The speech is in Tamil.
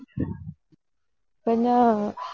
கொஞ்சம்